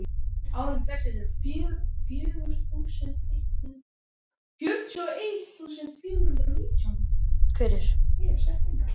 Við eigum eiginlega ekkert sem er heilt.